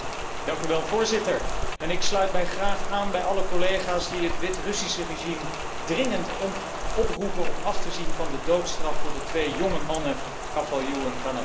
Voorzitter, ik sluit mij graag aan bij alle collega's die het Wit Russische regime dringend oproepen om af te zien van de doodstraf voor de twee jonge mannen Kovalev en Konovalov